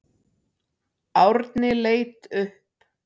Árni leit upp.